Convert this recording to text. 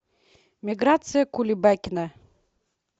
миграция кулебакина